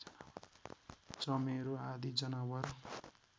चमेरो आदि जनावर